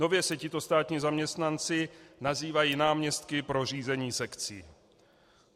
Nově se tito státní zaměstnanci nazývají náměstky pro řízení sekcí.